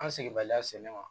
An segibaliya sen kan